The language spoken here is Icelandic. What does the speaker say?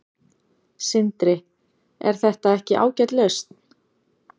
Sindri: Er þetta ekki ágæt lausn?